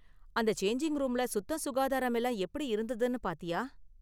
அந்த சேஞ்சிங் ரூம்ல சுத்தம் சுகாதாரம் எல்லாம் எப்படி இருந்ததுனு பார்த்தியா?